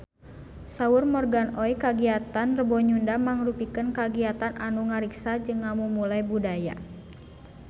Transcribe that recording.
Saur Morgan Oey kagiatan Rebo Nyunda mangrupikeun kagiatan anu ngariksa jeung ngamumule budaya Sunda